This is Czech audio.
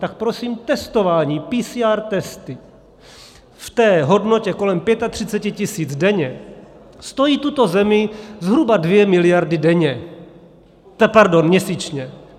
Tak prosím, testování PCR testy v té hodnotě kolem 35 tisíc denně stojí tuto zemi zhruba 2 miliardy denně, pardon, měsíčně.